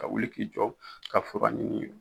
Ka wili k'i jɔ ka fura ɲini